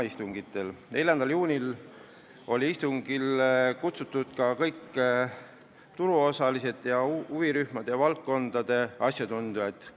4. juuni istungile olid kutsutud ka kõik turuosaliste ja huvirühmade esindajad ja valdkondade asjatundjad.